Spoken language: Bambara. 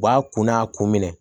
U b'a kun n'a kun minɛ